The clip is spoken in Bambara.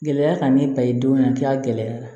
Gɛlɛya ka ne ta ye don min na a kɛra gɛlɛya la